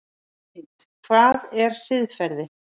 Mynd: Hvað er siðferði?